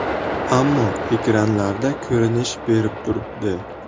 Ammo ekranlarda ko‘rinish berib turibdi.